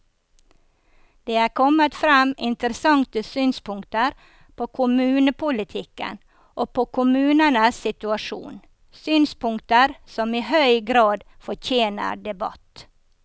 Det er kommet frem interessante synspunkter på kommunepolitikken og på kommunenes situasjon, synspunkter som i høy grad fortjener debatt.